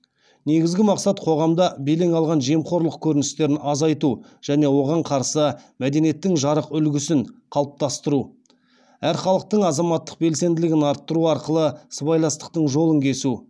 негізгі мақсат қоғамда белең алған жемқорлық көріністерін азайту және оған қарсы мәдениеттің жарық үлгісін қалыптастыру әр халықтың азаматтық белсенділігін арттыру арқылы сыбайластықтың жолын кесу